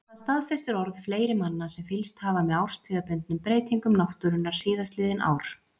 Það staðfestir orð fleiri manna sem fylgst hafa með árstíðabundnum breytingum náttúrunnar síðastliðin ár.